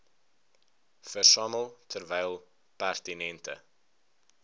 versamel terwyl pertinente